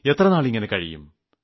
എത്രനാൾ ഇങ്ങനെ കഴിയും